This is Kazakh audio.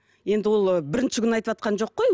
енді ол бірінші күн айтыватқан жоқ қой